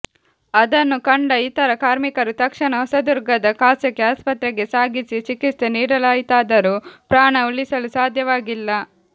ಅದನ್ನು ಕಂಡ ಇತರ ಕಾರ್ಮಿಕರು ತಕ್ಷಣ ಹೊಸದುರ್ಗದ ಖಾಸಗಿ ಆಸ್ಪತ್ರೆಗೆ ಸಾಗಿಸಿ ಚಿಕಿತ್ಸೆ ನೀಡಲಾಯಿತಾದರೂ ಪ್ರಾಣ ಉಳಿಸಲು ಸಾಧ್ಯವಾಗಿಲ್ಲ